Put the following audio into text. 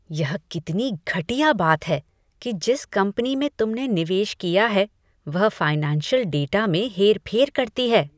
यह कितनी घटिया बात है कि जिस कंपनी में तुमने निवेश किया है, वह फाइनेंशियल डेटा में हेरफेर करती है।